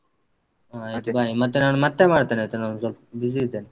ಹ ಆಯ್ತು. ಮತ್ತೆ. bye ಮತ್ತೆ ನಾನು ಮತ್ತೆ ಮಾಡ್ತೇನಾಯ್ತ ನಾನ್ ಸ್ವಲ್ಪ busy ಇದ್ದೇನೆ.